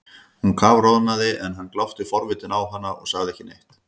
Hún kafroðnaði en hann glápti forvitinn á hana og sagði ekki neitt.